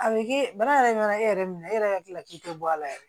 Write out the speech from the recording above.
A bɛ kɛ baara yɛrɛ ɲɛna e yɛrɛ minɛ e yɛrɛ ka tila k'i to a la yɛrɛ